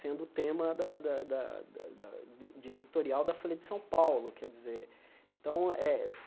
sendo o tema da da da da da de de editorial da Folha de São Paulo. Quer dizer então eh